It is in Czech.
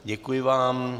Děkuji vám.